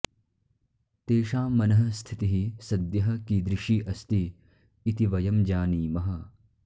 तेषां मनःस्थितिः सद्यः किदृशी अस्ति इति वयं जानीमः